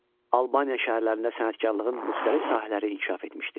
Albaniya şəhərlərində sənətkarlığın müxtəlif sahələri inkişaf etmişdi.